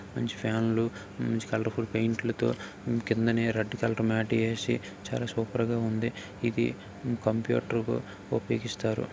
మంచి ఫ్యాన్ లు మంచి కలర్ ఫుల్ పెయింట్ లతో కిందనే రెడ్ కలర్ మ్యాటీ వేసి చాలా సూపర్ గా ఉంది. ఇది కంప్యూటర్ కి ఉపయోగిస్తారు.